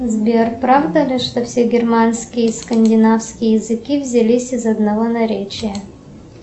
сбер правда ли что все германские скандинавские языки взялись из одного наречия